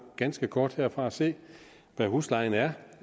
ganske kort herfra og se hvad huslejen er